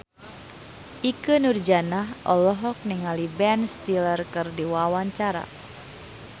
Ikke Nurjanah olohok ningali Ben Stiller keur diwawancara